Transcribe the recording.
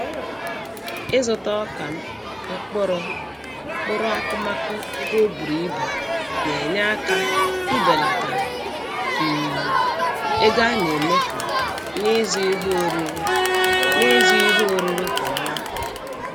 Ịzụta ọka, mkpụrụ, na mkpụrụ akụmakụ ebe o bùrù ibù na-enye aka ibelata um ego a na-emefu n'ịzụ ihe oriri n'ịzụ ihe oriri kwa ọnwa.